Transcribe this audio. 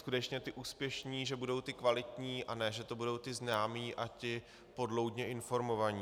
skutečně ti úspěšní že budou ti kvalitní, a ne že to budou ti známí a ti podloudně informovaní.